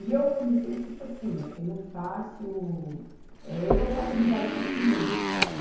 E eu comecei tipo assim, eu tenho fácil, eh, eu faço amizade facilmente.